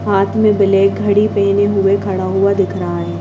हाथ में ब्लैक घड़ी पहने हुए खड़ा हुआ दिख रहा है।